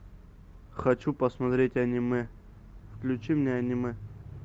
хочу посмотреть аниме включи мне аниме